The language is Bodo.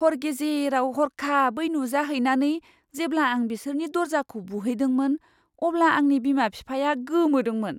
हर गेजेराव हरखाब नुजाहैनानै जेब्ला आं बिसोरनि दरजाखौ बुहैदोंमोन अब्ला आंनि बिमा बिफाया गोमोदोंमोन।